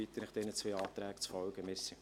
Ich bitte Sie, diesen Anträgen zu folgen.